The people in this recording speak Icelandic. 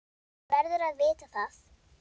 Hann verður að vita það.